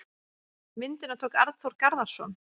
Myndina tók Arnþór Garðarsson.